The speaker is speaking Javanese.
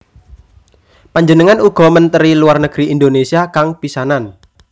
Panjenengan uga Menteri Luar Negeri Indonésia kang pisanan